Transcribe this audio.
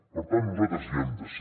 per tant nosaltres hi hem de ser